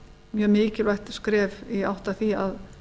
mjög mikilvægt skref í átt að því að